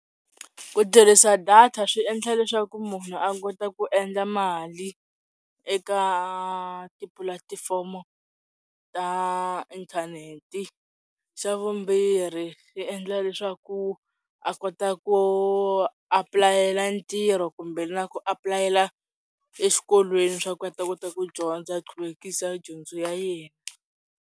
Ku tirhisa data swi endla leswaku munhu a kota ku endla mali eka tipulatifomo ta inthanete. Xa vumbirhi yi endla leswaku a kota ku apulayela ntirho kumbe na ku apulayela exikolweni swa ku a ta kota ku dyondza a qhuvekisa dyondzo ya yena.